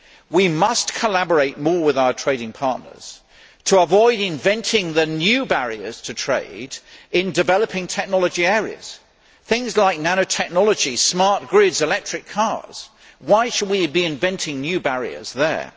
We must collaborate more with our trading partners to avoid inventing the new barriers to trade in developing technology areas things like nano technology, smart grids and electric cars. Why should we be inventing new barriers there?